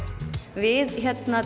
við